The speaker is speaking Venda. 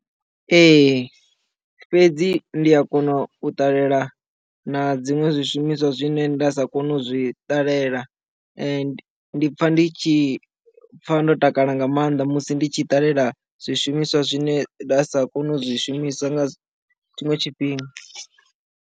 Ee fhedzi ndi a kona u ṱalela na dziṅwe zwishumiswa zwine nda sa koni uzwi ṱalela ndi pfha ndi tshi pfa ndo takala nga maanḓa musi ndi tshi ṱalela zwishumiswa zwine nda sa koni u zwi shumiswa nga tshiṅwe tshifhinga.